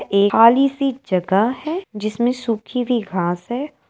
ए खाली सी जगह है जिसमें सुखी हुई घास है।